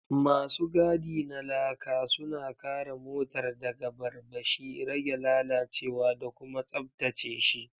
Masu gadi na Laka suna kare motar daga barbashi, rage lalacewa da kuma tsabtace shi.